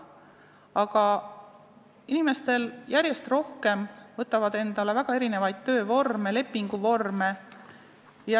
Aga inimesed võtavad järjest rohkem endale mitmesuguseid töövorme, lepinguvorme.